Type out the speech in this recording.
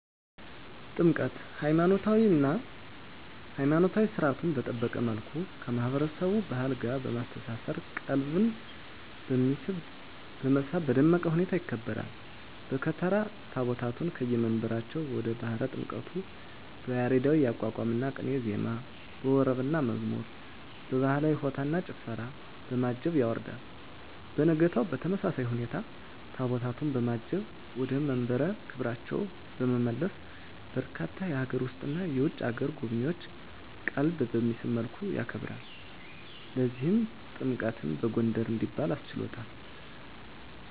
ጥምቀት!! ሀይማኖታዊ ሰርዓቱን በጠበቀ መልኩ ከማህበረሰቡ ባህል ጋር በማስተሳሰር ቀልብን በመሳብ በደመቀ ሁኔታ ይከበራል። በከተራ ታቦታቱን ከየመንበራቸው ወደ ባህረ ጥምቀቱ በያሬዳዊ የአቋቋምና ቅኔ ዜማ፣ በወረብና መዝሙር፣ በባህላዊ በሆታና በጭፈራ፣ በማጀብ ያወርዳል። በነጋታው በተመሳሳይ ሁኔታ ታቦታቱን በማጀብ ወደ መንበረ ክብራቸው በመመለስ በርካታ የሀገር ውስጥና የውጭ አገር ጎብኚዎችን ቀልብ በሚስብ መልኩ ያከብራል። ለዚህም ጥምቀትን በጎንደር እንዲባል አስችሎታል!!